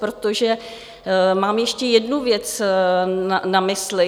Protože mám ještě jednu věc na mysli.